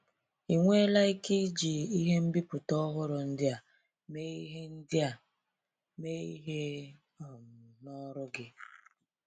I nweela ike iji ihe mbipụta ọhụrụ ndia mee ihe ndia mee ihe um n'ọrụ gị?